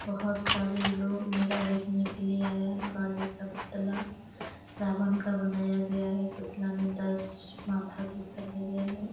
बहुत सारे लोग मेला देखने के लिए आये हैं सब पुतला रावण का बनाया गया हैं पुतला में दस माथा दिखाया गया हैं।